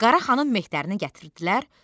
Qaraxanın mehtərini gətirdilər.